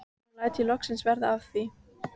Nú læt ég loksins verða af því.